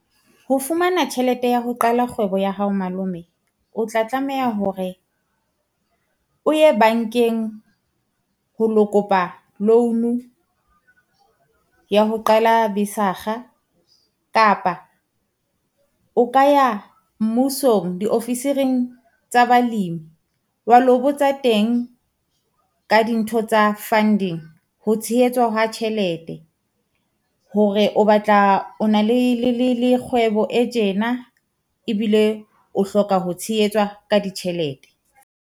Ho fumana tjhelete ya ho qala kgwebo ya hao malome, o tla tlameha hore o ye bankeng ho lo kopa loan ya ho qala kapa o ka ya mmusong diofisiring tsa balemi. Wa lo botsa teng ka dintho tsa funding. Ho tshehetswa ha tjhelete, hore o batla o na le kgwebo e tjena ebile o hloka ho tshehetswa ka ditjhelete.